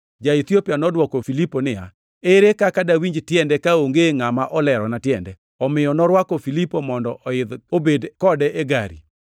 Ja-Ethiopia nodwoko Filipo niya, “Ere kaka dawinj tiende kaonge ngʼama olerona tiende?” Omiyo norwako Filipo mondo oidh obed kode ei gari.